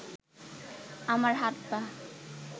আমার হাত-পা